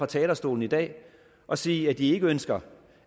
talerstolen i dag og sige at de ikke ønsker